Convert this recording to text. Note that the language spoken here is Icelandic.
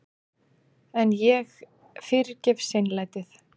En ég fyrirgef seinlætið.